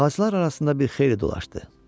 Ağaclar arasında bir xeyli dolaşdı.